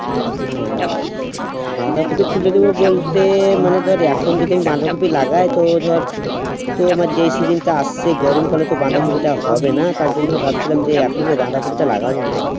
না বাঁধাকপি তুলে দেবো বলতে মানে ধরে এখন যদি বাঁধাকপি লাগাইতো ধর তো আমার যেই session তা আসছে গরমকালে তো বাঁধাকপি টা হবে না তার জন্য ভাবছিলাম যে এখনো বাঁধাকপি টা লাগাবো না